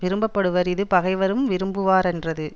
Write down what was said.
விரும்ப படுவர் இது பகைவரும் விரும்புவாரென்றது